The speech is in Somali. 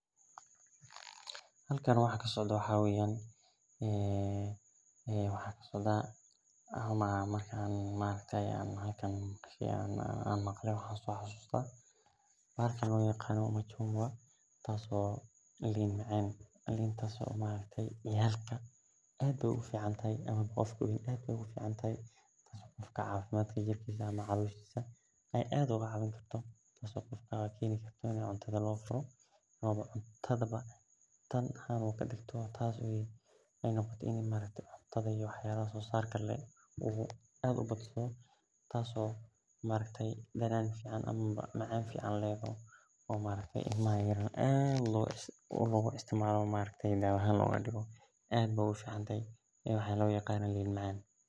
Halkani waxaa kasocdo waxaa weyan waxaa kasocda bahalkan marki an maqle tas oo lin macan dadka aad ayey ogu ficantahay jirkisa tas oo keni kartaa in u cuntadha cuni ilmaha iyo dadka wawen ayey aad u jacel cuntadhana wey kusineysa waxaa lo yaqana lin macan.